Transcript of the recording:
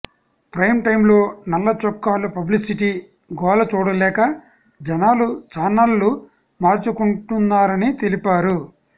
prime టైంలో నల్ల చొక్కాల పబ్లిసిటీ గోల చూడలేక జనాలు చానళ్లు మార్చుకుంటున్నారని తెలిపారు